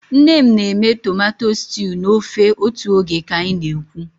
Nne m na-eme tomato stew na ofe otu oge ka anyị na-ekwu.